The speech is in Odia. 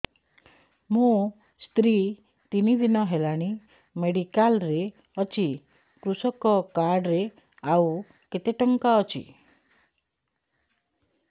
ମୋ ସ୍ତ୍ରୀ ତିନି ଦିନ ହେଲାଣି ମେଡିକାଲ ରେ ଅଛି କୃଷକ କାର୍ଡ ରେ ଆଉ କେତେ ଟଙ୍କା ଅଛି